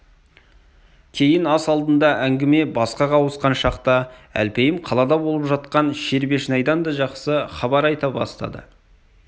кейін ас алдында әңгіме басқаға ауысқан шақта әлпейім қалада болып жатқан шербешнайдан да жақсы хабар айта бастады